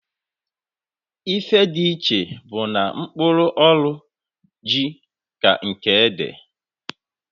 Ife di iche bu na mkpụrụ ọrụ ji ka nke ede.